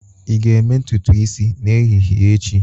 Ị ga-eme ntutu isi n'ehihie echi?